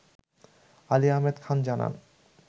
আলী আহমদ খান জানান